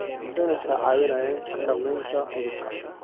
Adeegyadani waxay caawiyaan xakamaynta cudurka.